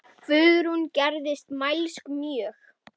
Guðrún gerðist mælsk mjög.